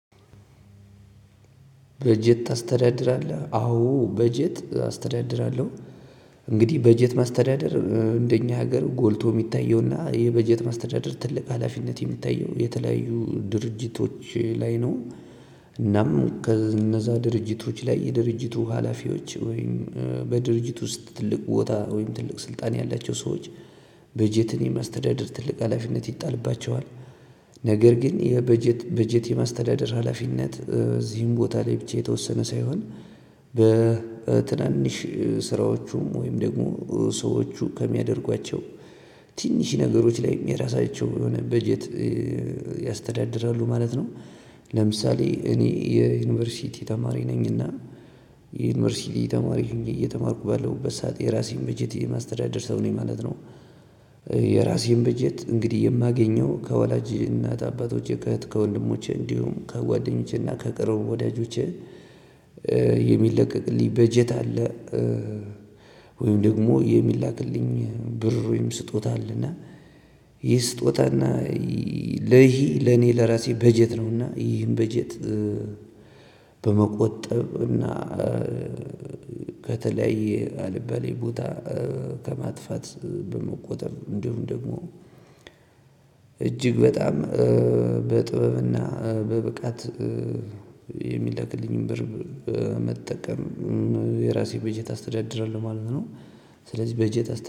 በጀት ታስተዳድራለህ አዎ በጀት አስተዳድራለሁ። እንግዲህ በጀት ማስተዳደር እንደኛ ሀገር ጎልቶ የሚታየውና የበጀት ማስተዳደር ትልቅ ሀላፊነት የሚታየው የተለያዩ ድርጅቶች ላይ ነው። እናም ከእነዛ ድርጅቶች ላይ የድርጅቱ ሀላፊዎች ወይም በድርጅት ውስጥ ትልቅ ቦታ ወይም ትልቅ ስልጣን ያላቸው ሰዎች በጀትን የማስተዳደር ትልቅ ሀላፊነት ይጣልባቸዋል። ነገር ግን የበጀት በጀት የማስተዳደር ሀላፊነት እዚህም ቦታ ላይ ብቻ የተወሰነ ሳይሆን በትናንሽ ስራዎቹም ወይም ደግሞ ሰዎች ከሚያደርጓቸው ትንሽ ነገሮች ላይም የራሳቸው የሆነ በጀት ያስተዳድራሉ ማለት ነው። ለምሳሌ እኔ የዩኒቨርሲቲ ተማሪ ነኝና የዩኒቨርሲቲ ተማሪ እየተማርኩ ባለሁበት ሰዓት የራሴን በጀት የማስተዳደር ሰው ነው ማለት ነው። የራሴን በጀት እንግዲህ የማገኘው ከወላጅ እናት አባቶች ከእህት ከወንድሞቼ እንዲሁም ከጓደኞቼና ከቅርብ ወዳጆቼ የሚለቀቅልኝ በጀት አለ። ወይም ደግሞ የሚላክልኝ ብር ወይም ስጦታ አለና። ይህ ስጦታና ለይሄ ለኔ ለራሴ በጀት ነውና ይሄን በጀት። በመቆጠብ እና ከተለያየ አልባሌ ቦታ ከማጥፋት በመቆጠብ እንዲሁም ደግሞ እጅግ በጣም በጥበብና በብቃት የሚለቅልኝን ብር መጠቀም የራሴ በጀት አስተዳድራለሁ ማለት ነው። ስለዚህ በጀት